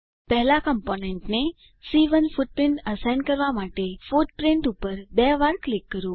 પહેલા કમ્પોનન્ટને C one footprint assign કરવા માટે ફુટપ્રિન્ટ પર બે વાર ક્લિક કરો